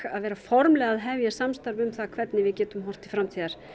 að vera formlega að hefja samstarf um það hvernig við getum horft til framtíðar